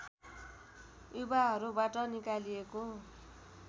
युवाहरूबाट निकालिएको